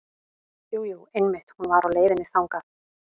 Jú, jú einmitt hún var á leiðinni þangað.